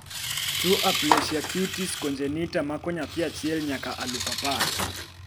tuo aplasia cutis congenita mako nyathi achiel nyaka alufu apar